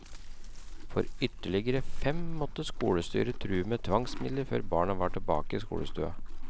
For ytterligere fem måtte skolestyret true med tvangsmidler før barna var tilbake i skolestua.